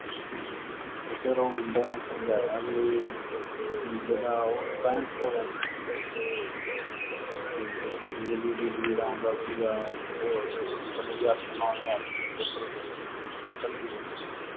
ਤੇ ਫਿਰ ਉਹ ਮੁੰਡੇ ਨੇ ਸਮਝਾਇਆ ਵੀ ਜਿਦਾਂ ਉਹ ਪੈਂਹਠ ਸੌ rent ਦਿੰਦੀ ਸੀਗੀ। ਤੇ ਵਿੱਚ ਬਿਜਲੀ ਬਿਜੁਲੀ ਦਾ ਆਉਂਦਾ ਸੀਗਾ ਤੇ ਉਹ extra ਮਤਲਬ ਵੀ ਅੱਠ ਨੌ ਹਜ਼ਾਰ ਰੁਪਇਆ total bill ਦਿੰਦੀ ਸੀਗੀ, ਕੱਲੀ ਜਣੀ ਉਹ।